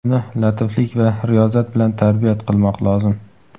Uni latiflik va riyozat bilan tarbiyat qilmoq lozim.